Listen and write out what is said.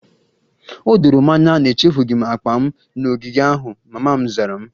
O doro m anya na echefughị m akpa m n'ogige ahụ, mama m zara